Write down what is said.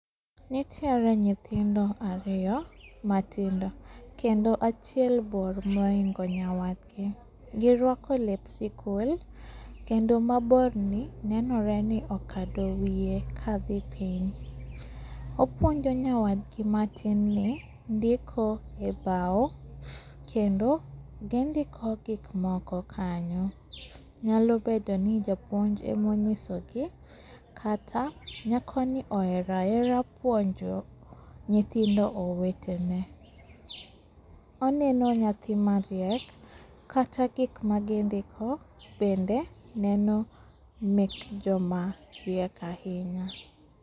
Nitiere nyithindo ariyo matindo kendo achiel bor mohingo nyawadgi, giruako lep sikul, kendo maborni nenore ni okado wie kadhi piny. Opuonjo nyawadgi matin ni ndiko e bao, kendo gindiko gikmoko kanyo, nyalo bedoni japuonj emonyisogi kata nyakoni ohera ahera puonjo nyithindo owetene. Oneno nyathi mariek kata gikma gindiko bende neno mek jomariek ahinya.